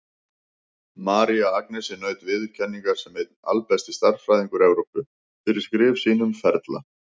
María Agnesi naut viðurkenningar sem einn albesti stærðfræðingur Evrópu, fyrir skrif sín um ferla.